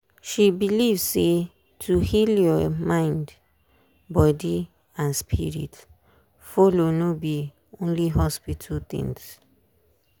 she believe say to heal your mindbody and spirit follow no be only hospital things.